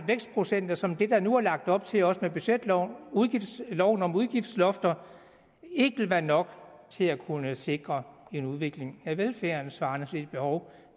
vækstprocenter som dem der nu er lagt op til også med budgetloven loven om udgiftslofter ikke ville være nok til at kunne sikre en udvikling af velfærden svarende til det behov